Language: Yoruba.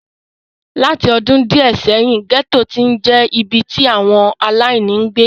Láti ọdún díẹ̀ sẹ́yìn, gẹ́tò ti ń je ibi tí àwọn aláìní ń gbé.